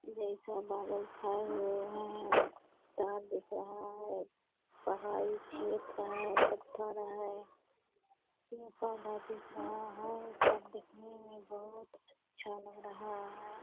जैसा बादल छाए हुए है तार दिख रहा है पहाड़ी क्षेत्र है पत्थर है पेड़-पौधा दिख रहा है सब दिखने में बहुत अच्छा लग रहा है।